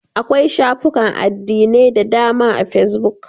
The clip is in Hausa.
Akwai shafukan addinai da dama a fesbuk.